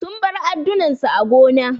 Sun bar addunan su a gona.